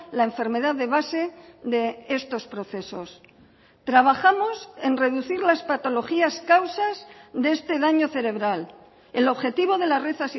la enfermedad de base de estos procesos trabajamos en reducir las patologías causas de este daño cerebral el objetivo de la red